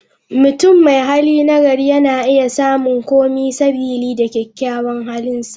Mutum mai hali nagari, yana iya samun kome sabili da kyakyawan halinsa.